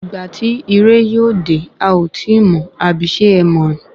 Ìgbà tí irẹ̀ yóò dé ,a ó tíì mọ̀, abi ṣe ẹ mọ̀?